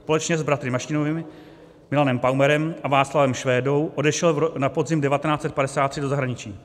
Společně s bratry Mašínovými, Milanem Paumerem a Václavem Švédou odešel na podzim 1953 do zahraničí.